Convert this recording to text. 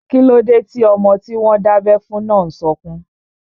Kíló dé tí ọmọ tí wọ́n dábẹ́ fún náà n sọkún?